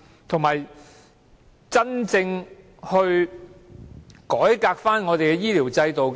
再者，要真正改革醫療制度，